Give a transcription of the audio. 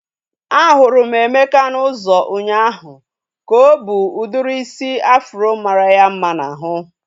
A hụrụ m Emeka n'ụzọ ụnyaahụ ka o bu udiri isi afro mara ya mma n'ahu